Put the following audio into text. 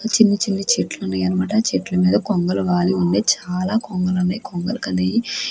చిన్ని చిన్ని చెట్లు ఉన్నయన్నమాట చెట్ల మీద కొంగలు వాలి ఉన్నాయి చాలా కొంగలు వున్నాయి కొంగలు అనేయి --